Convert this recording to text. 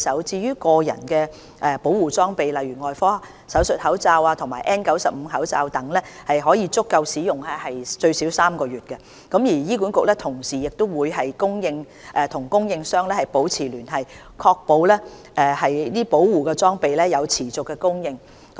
至於個人保護裝備儲備，例如外科手術口罩及 N95 口罩等，可足夠使用最少3個月，醫管局同時會與供應商保持聯繫，確保保護裝備有持續供應。